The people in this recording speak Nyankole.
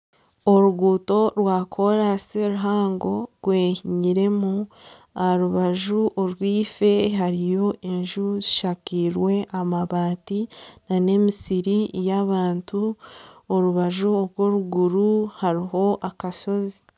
Oruguuto rwakoraasi ruhango rwehinyiremu aha rubaju orwife hariyo enju ezishakairwe amabaati nana emisiri y'abantu, orubaju orw'oruguuru hariyo akashozi